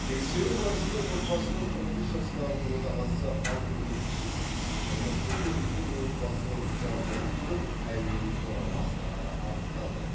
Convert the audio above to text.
тексеру барысында отбасының қырық үш жастағы отағасы алкоголь ішіп тұрмыстық негізде отбасылық жанжал тудырып әйелін ұра бастағаны анықталды